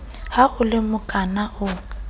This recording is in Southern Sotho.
ha o le mokana o